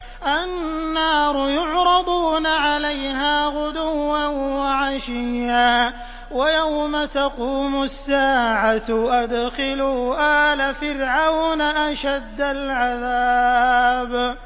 النَّارُ يُعْرَضُونَ عَلَيْهَا غُدُوًّا وَعَشِيًّا ۖ وَيَوْمَ تَقُومُ السَّاعَةُ أَدْخِلُوا آلَ فِرْعَوْنَ أَشَدَّ الْعَذَابِ